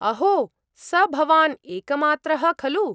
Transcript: अहो! स भवान् एकमात्रः खलु !